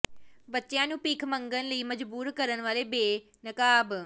ਬੱਚਿਆਂ ਨੂੰ ਭੀਖ ਮੰਗਣ ਲਈ ਮਜਬੂਰ ਕਰਨ ਵਾਲੇ ਬੇਨਕਾਬ